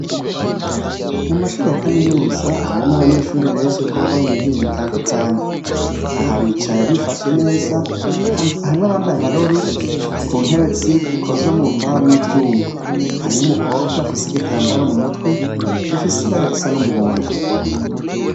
Mu mashure ya kaminuza harimwo abanyeshuri benshi kuko baba mu mihingo itandukanye. Aha bicaye bifashe neza, harimwo abambaye amarori, mu ntevye zikozwe mu mbaho n' ivyuma. Harimwo umukobwa afise igitambara mu mutwe , gifise ibara ry' umuhondo.